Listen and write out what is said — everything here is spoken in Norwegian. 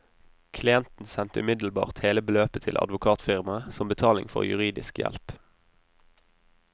Klienten sendte umiddelbart hele beløpet til advokatfirmaet, som betaling for juridisk hjelp.